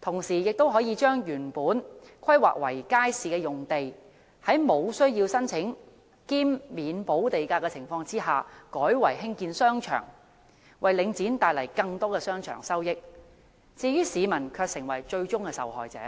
同時亦可將原來規劃為街市的用地，在無須申請兼免補地價的情況下，改為興建商場，為領展帶來更多商場收益，但市民卻成為最終受害者。